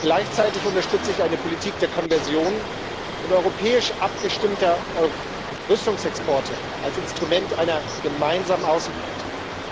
Gleichzeitig unterstütze ich eine Politik der Konversion und europäisch abgestimmter Rüstungsexporte als Instrument einer gemeinsamen Außenpolitik.